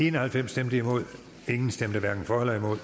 en og halvfems hverken for eller imod